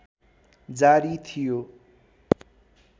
जारी थियो